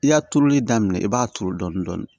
I y'a turuli daminɛ i b'a turu dɔɔni dɔɔni